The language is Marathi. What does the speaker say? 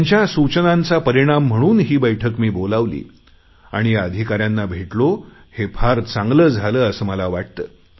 त्यांच्या सूचनांचा परिणाम म्हणून ही बैठक मी बोलावली आणि या अधिकाऱ्यांना मी भेटलो हे फार चांगले झाले असे मला वाटते